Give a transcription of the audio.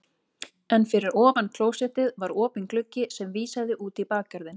En fyrir ofan klósettið var opinn gluggi sem vísaði út í bakgarðinn.